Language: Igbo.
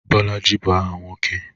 Bolaji bụ aha nwoke